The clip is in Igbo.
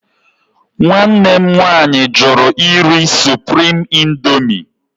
Nwanne m nwaanyị jụrụ iri Supriim Indoomi.